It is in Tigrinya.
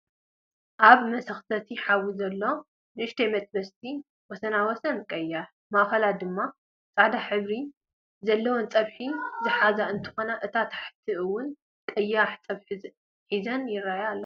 ኣብ መሰክተቲ ሓዊ ዘለዎ ንእሽተያት መጥበስቲ ወሰን ወሰና ቀይሕ ማእከላ ድማ ፃዕዳ ሕብሪ ዘለዎን ፀብሒ ዝሓዘት እትትከውን እታ ሓንቲ እወን ቀይሕ ፀቢሒ ይዘን ይርኣያ ኣለዋ ።